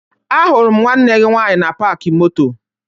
Ahụrụ m nwanne gị nwaanyị na paakị moto